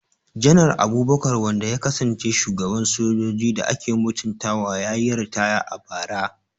Janar Abubakar wanda ya kasance shugaban soji da ake mutuntawa, ya yi ritaya a bara.